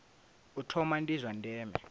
u thoma ndi zwa ndeme